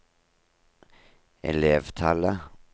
elevtallet